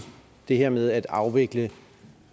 det her med at afvikle